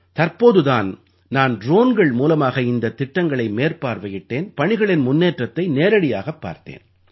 தற்போது தான் நான் ட்ரோன்கள் மூலமாக இந்தத் திட்டங்களை மேற்பார்வையிட்டேன் பணிகளின் முன்னேற்றத்தை நேரடியாகப் பார்த்தேன்